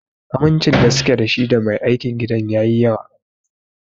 Amincin da suke da shi da Mai aikin gidan yayi yawa.